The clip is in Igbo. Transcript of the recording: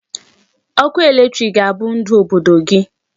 Ọkụ electric ga-abụ ndu Obodo gị.